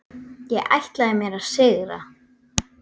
Ég ætlaði mér að sigra.